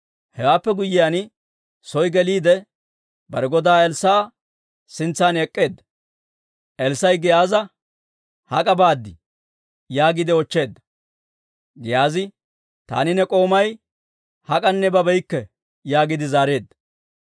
Hewaappe guyyiyaan, soo geliide, bare godaa Elssaa'a sintsan ek'k'eedda. Elssaa'i Giyaaza, «Hak'a baad?» yaagiide oochcheedda. Giyaazi, «Taani ne k'oomay hak'anne babeykke» yaagiide zaareedda.